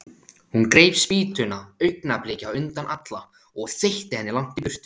Hún greip spýtuna augnabliki á undan Alla og þeytti henni langt í burtu.